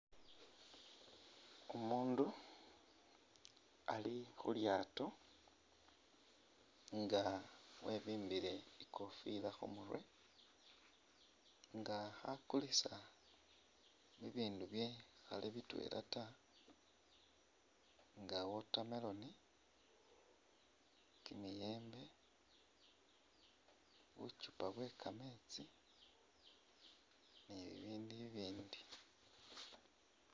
Umundu ali khulyato nga webimbile ikofila khumurwe nga khakulisa ibindu bikhali bitwela taa nga water melon, kimiyembe , bukyupa bweka metsi nibibindu ibindi .